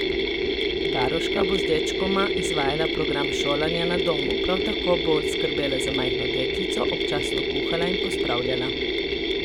Varuška bo z dečkoma izvajala program šolanja na domu, prav tako bo skrbela za majhno deklico, občasno kuhala in pospravljala.